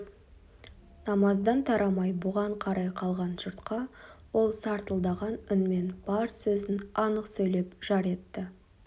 намаздан тарамай бұған қарай қалған жұртқа ол сартылдаған үнмен бар сөзін анық сөйлеп жар етті